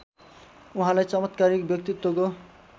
उहाँलाई चमत्कारिक व्यक्तित्वको